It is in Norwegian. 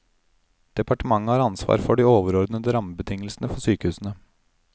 Departementet har ansvar for de overordnede rammebetingelsene for sykehusene.